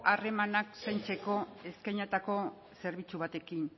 harremanak zaintzeko eskainitako zerbitzu batekin